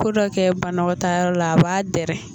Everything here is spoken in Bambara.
Kodɔ kɛ banakɛtaayɔrɔ la a b'a dɛrɛ